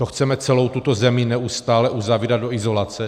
To chceme celou tuto zemi neustále uzavírat do izolace?